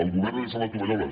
el govern ha llençat la tovallola